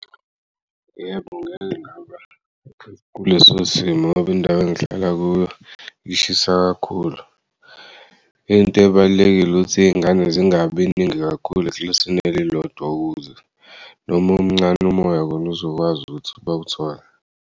Yebo ngake ngaba kuleso simo ngoba indawo engihlala kuyo lishisa kakhulu. Into ebalulekile ukuthi iy'ngane zingabi ningi kakhulu eklasini elilodwa ukuze noma umncane umoya kon'uzokwazi ukuthi bawuthole.